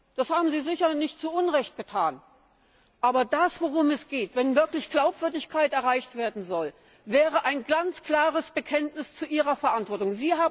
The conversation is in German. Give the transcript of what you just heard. Das haben Sie sicher nicht zu Unrecht getan. Aber das, worum es geht, wenn wirklich Glaubwürdigkeit erreicht werden soll, wäre ein ganz klares Bekenntnis zu Ihrer Verantwortung.